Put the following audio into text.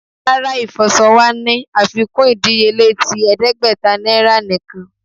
Rara, ifọṣọ wa ni afikun idiyele ti ẹdẹgbẹta niara nikan